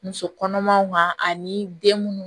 Muso kɔnɔmaw kan ani den munnu